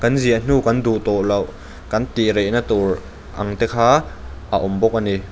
ziah hnu kan duh tawh loh kan tih rehna tur ang te kha a awm bawk a ni.